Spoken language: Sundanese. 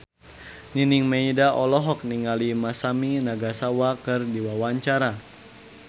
Nining Meida olohok ningali Masami Nagasawa keur diwawancara